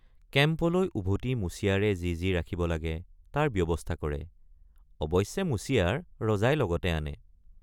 কেম্পলৈ উভতি মুচিয়াৰে যি যি ৰাখিব লাগে তাৰ ব্যৱস্থা কৰে অৱশ্যে মুচিয়াৰ ৰজাই লগতে আনে।